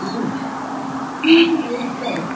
Segundo, tudo menos casar.